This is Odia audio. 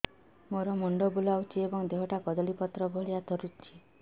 ମୋର ମୁଣ୍ଡ ବୁଲାଉଛି ଏବଂ ଦେହଟା କଦଳୀପତ୍ର ଭଳିଆ ଥରୁଛି